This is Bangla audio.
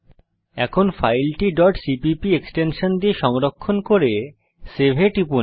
এখন ফাইলটি cpp এক্সটেনশন দিয়ে সংরক্ষণ করুন এবং সেভ এ টিপুন